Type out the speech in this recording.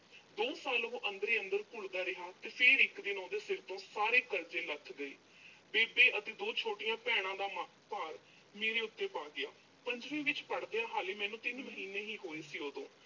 ਦੋ ਸਾਲ ਉਹੋ, ਅੰਦਰ ਹੀ ਅੰਦਰ ਘੁਲਦਾ ਰਿਹਾ ਤੇ ਫਿਰ ਇੱਕ ਦਿਨ ਉਹਦੇ ਸਿਰ ਤੋਂ ਸਾਰੇ ਕਰਜ਼ੇ ਲੱਥ ਗਏ। ਬੇਬੇ ਅਤੇ ਦੋ ਛੋਟੀਆਂ ਭੈਣਾਂ ਦਾ ਅਹ ਭਾਰ ਮੇਰੇ ਉੱਤੇ ਪਾ ਗਿਆ ਪੰਜਵੀਂ ਵਿੱਚ ਪੜ੍ਹਦਿਆਂ ਹਾਲੇ ਮੈਨੂੰ ਤਿੰਨ ਮਹੀਨੇ ਹੀ ਹੋਏ ਸੀ ਉਦੋਂ।